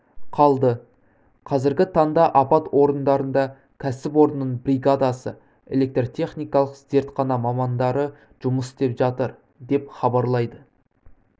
қалды қазіргі таңда апат орындарында кәсіпорынның бригадасы электротехникалық зертхана мамандары жұмыс істеп жатыр деп хабарлайды